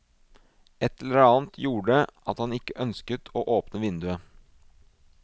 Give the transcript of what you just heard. Ett eller annet gjorde at han ikke ønsket å åpne vinduet.